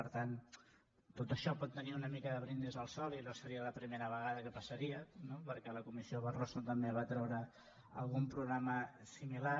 per tant tot això pot tenir una mica de brindis al sol i no seria la primera vegada que passaria no perquè la comissió barroso també va treure algun programa similar